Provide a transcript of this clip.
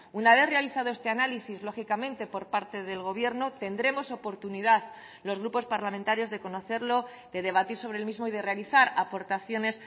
una vez realizado este análisis lógicamente por parte del gobierno tendremos oportunidad los grupos parlamentarios de conocerlo de debatir sobre el mismo y de realizar aportaciones